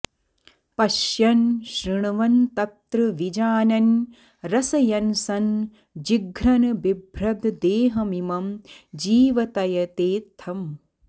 पश्यन् शृण्वन्नत्र विजानन् रसयन् सन् जिघ्रन् बिभ्रद्देहमिमं जीवतयेत्थम्